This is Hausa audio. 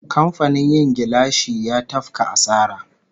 Kamfanin yin gilashi ya tafka asara